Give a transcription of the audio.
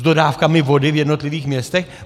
S dodávkami vody v jednotlivých městech?